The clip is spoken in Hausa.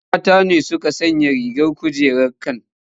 Wasu mata ne suka sayi jar kujerar can.